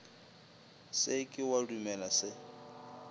se ke wa dumela se